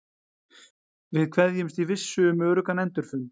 Við kveðjumst í vissu um öruggan endurfund.